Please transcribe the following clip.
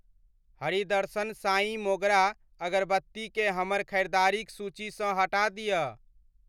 हरी दर्शन साईं मोगरा अगरबत्ती केँ हमर खरीदारिक सूचीसँ हटा दिअ।